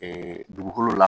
dugukolo la